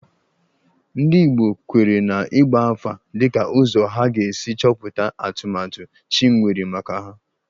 Ndị Igbo kweere na ịgba afa dịka ụzọ ha ga-esi chọpụta atụmatụ chi nwere maka ha